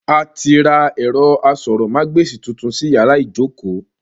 A ti ra ẹ̀rọ asọ̀rọ̀mágb'èsì tuntun sí yàrá ìjókòó